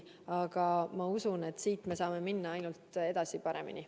Aga ma usun, et siit me saame edasi minna ainult paremini.